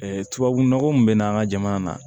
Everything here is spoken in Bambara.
tubabunɔgɔ min bɛ na an ka jamana na